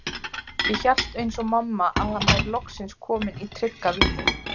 Ég hélt eins og mamma að hann væri loksins kominn í trygga vinnu.